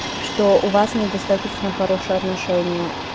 что у вас недостаточно хорошее отношение